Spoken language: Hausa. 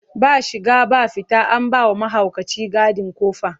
Ba shiga ba fita, an ba wa mahaukaci gadi ƙofa.